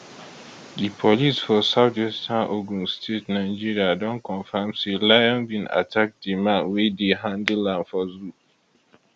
di police for southwestern ogun state nigeria don confam say lion bin attack di man wey dey handle am for zoo